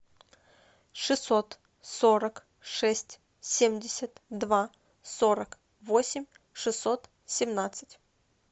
шестьсот сорок шесть семьдесят два сорок восемь шестьсот семнадцать